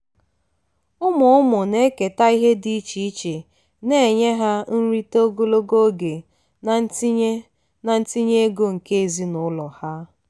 ụmụ ụmụ na-eketa ihe dị iche iche na-enye ha nrite ogologo oge na ntinye na ntinye ego nke ezinụlọ ha.